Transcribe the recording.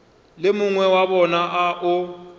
le mongwe wa bona o